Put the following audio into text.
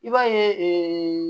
I b'a ye